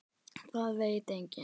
Það veit enginn.